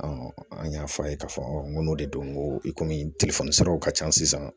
an y'a fɔ a ye k'a fɔ n ko n'o de don ko i kɔni telefɔni siraw ka ca sisan